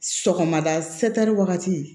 Sɔgɔmada wagati